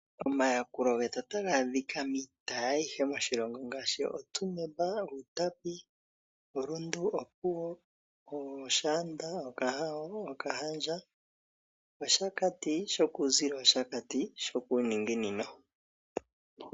Omayakulo getu otaga adhika miitayi ayihe moshilongo ngaashi oTsumeb, Outapi, oRundu, Opuwo, Oshaanda, Okahao, Okahandja, Oshakati shokuuzilo nOshakati shokuuninginino.